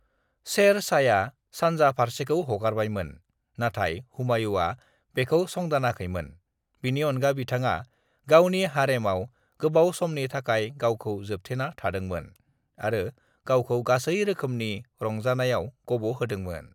"""शेर शाहया सानजा फारसेखौ हगारबायमोन, नाथाय हुमायूँआ बेखौ संदानाखैमोन: बिनि अनगा बिथाङा """"गावनि हारेमआव गोबाव समनि थाखाय गावखौ जोबथेना थादोंमोन आरो गावखौ गासै रोखोमनि रंजानायाव गब'होदोंमोन""""।"""